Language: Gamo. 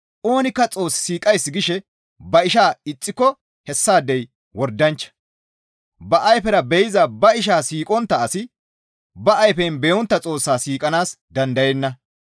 Oonikka Xoos siiqays gishe ba ishaa ixxiko hessaadey wordanchcha; ba ayfera be7iza ba ishaa siiqontta asi ba ayfen be7ontta Xoossaa siiqanaas dandayenna.